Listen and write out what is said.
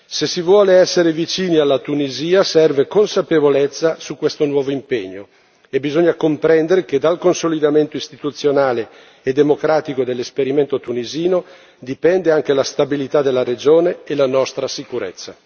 Se si vuole essere vicino alla Tunisia, serve consapevolezza su questo nuovo impegno e bisogna comprendere che dal consolidamento istituzionale e democratico dell'esperimento tunisino, dipende anche la stabilità della regione e la nostra sicurezza.